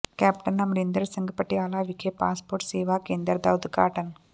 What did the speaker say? captain Amarinder Singh Patiala ਵਿਖੇ passport ਸੇਵਾ ਕੇਂਦਰ ਦਾ ਉਦਘਾਟਨ